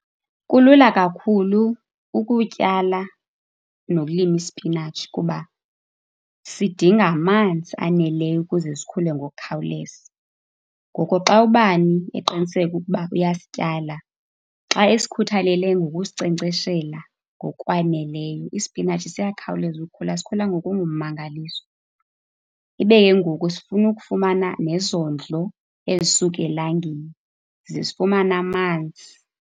Kulula kakhulu ukutyala nokulima isipinatshi kuba sidinga amanzi aneleyo ukuze sikhule ngokukhawuleza. Ngoko xa ubani eqiniseka ukuba uyasityala, xa esikhuthalele ngokusinkcenkceshela ngokwaneleyo, isipinatshi siyakhawuleza ukhula. Sikhula ngokungummangaliso. Ibe ke ngoku sifuna ukufumana nezondlo ezisuka elangeni ze zifumane amanzi.